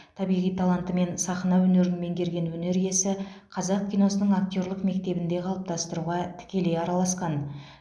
табиғи талантымен сахна өнерін меңгерген өнер иесі қазақ киносының актерлік мектебін де қалыптастыруға тікелей араласқан